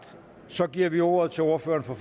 så giver vi ordet til ordføreren for